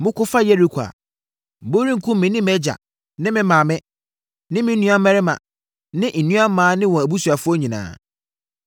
moko fa Yeriko a, morenkum me ne mʼagya ne me maame, me nuammarima ne nuammaa ne wɔn mʼabusuafoɔ nyinaa.”